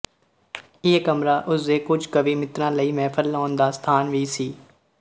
ਇਹ ਕਮਰਾ ਉਸਦੇ ਕੁਝ ਕਵੀ ਮਿੱਤਰਾਂ ਲਈ ਮਹਿਫ਼ਲ ਲਾਉਣ ਦਾ ਸਥਾਨ ਵੀ ਸੀ